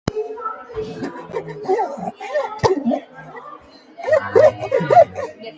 Hann þagnar og snýr sér undan.